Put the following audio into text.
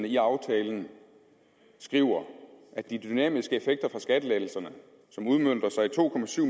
i aftalen at de dynamiske effekter fra skattelettelserne som udmønter sig i to